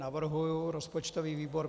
Navrhuji rozpočtový výbor.